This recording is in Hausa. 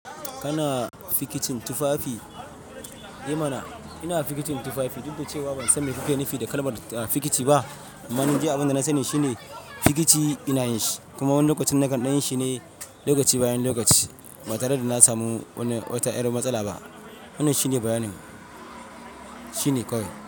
Kana fikicin tufafi? I mana, ina fikicin tufafi, duk da cewa ban san me kuke nufi da kalmar fikici ba, amma ni de abin da na sani shine fikici ina yinshi kuma wani lokacin nakan ɗanyi shi ne lokaci bayan lokaci ba tare da na samu wani wata ƴar matsala ba. Wannan shine bayanin, shine kawai.